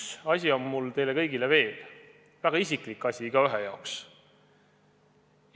Üks asi on mul teile kõigile veel, väga isiklik asi igaühe jaoks!